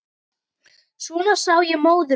Svona sá ég móður mína.